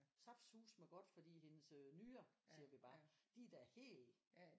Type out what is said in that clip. Saftsuseme godt fordi hendes øh nyrer siger vi bare de er da helt